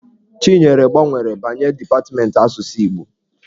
Chinyere gbanwere banye depatmentị asụsụ Igbo.